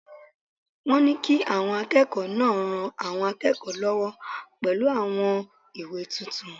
Wọ́n ní kí àwọn akẹ́kọ̀ọ́ náà ran àwọn akẹ́kọ̀ọ́ lọ́wọ́ pẹ̀lú àwọn ìwé tuntun